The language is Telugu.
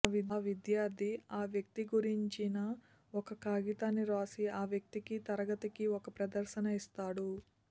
ఆ విద్యార్థి ఆ వ్యక్తి గురించిన ఒక కాగితాన్ని వ్రాసి ఆ వ్యక్తికి తరగతికి ఒక ప్రదర్శన ఇస్తాడు